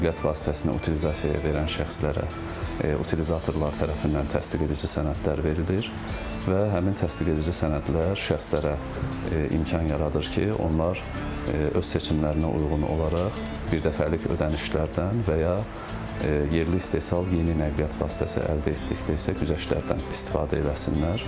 Nəqliyyat vasitəsinə utilizasiya verən şəxslərə utililatorlar tərəfindən təsdiq edici sənədlər verilir və həmin təsdiq edici sənədlər şəxslərə imkan yaradır ki, onlar öz seçimlərinə uyğun olaraq birdəfəlik ödənişlərdən və ya yerli istehsal yeni nəqliyyat vasitəsi əldə etdikdə isə güzəştlərdən istifadə eləsinlər.